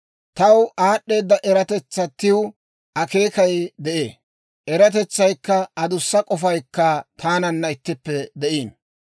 «Taw, aad'd'eeda eratetsatiw akeekay de'ee; eratetsaykka adussa k'ofaykka taananna ittippe de'iino.